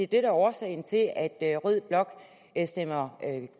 der er årsagen til at at rød blok stemmer